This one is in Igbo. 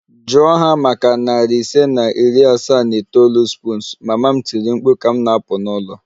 Jụọ ha maka narị ise na iri asaa na itoolu spoons! Mama m tiri mkpu ka m na-apụ n'ụlọ